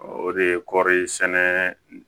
O de ye kɔɔri sɛnɛ